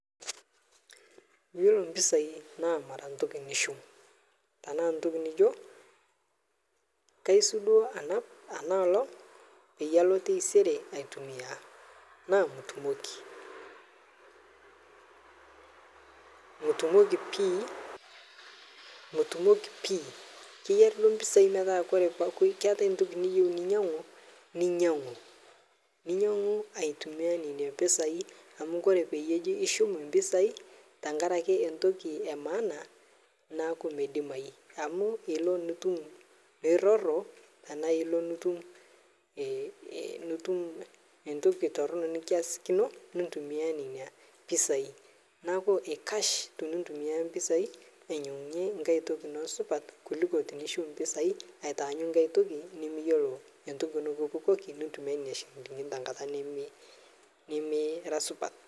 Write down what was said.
Iyiolo mpisai naa mara ntoki nishum tanaa ntoki nijo kaisudoo anap anaolog peyalo teisere aitumiai naa mitumoki pii keyari duo mpisai naaku kore duo ntoki nayari pinyangu ninyangu aitumia nenia pisai amu kore peji ishum empisai Tankaraki entoki emaana naaku medimai ama ilo nitum niroro tana ilo nitum ntoki tornoo nikiasikino nintumia nenia pisai naaku eikash tinintumia nena pisai ainyengunye nkae toki ino supat kuluko tinishum mpisai aatanyu nkae toki nimiyelo nkae toki nikipukoki nintumia nenia shilingini tenkata nimira supat.